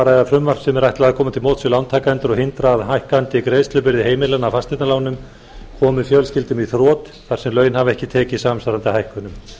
ræða frumvarp sem ætlað er að koma til móts við lántakendur og hindra að hækkandi greiðslubyrði heimilanna af fasteignalánum komi fjölskyldum í þrot þar sem laun hafa ekki tekið samsvarandi hækkunum